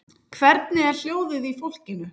Hvernig er hljóðið í fólkinu?